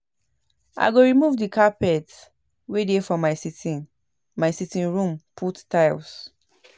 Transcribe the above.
I go remove the carpet wey dey for my sitting my sitting room put tile